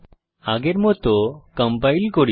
আগের মত কম্পাইল করি